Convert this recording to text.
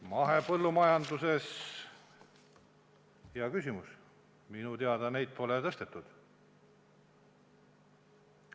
Mahepõllumajanduses minu teada neid pole tõstetud.